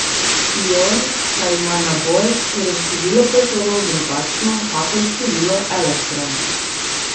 Ion pa ima naboj, ker je število protonov drugačno kakor število elektronov.